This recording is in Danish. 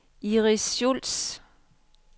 Iris Schulz